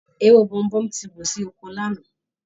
Ewé Bomubómú ti wù sí oko Lànà